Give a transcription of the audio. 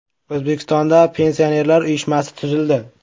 O‘zbekistonda Pensionerlar uyushmasi tuzildi .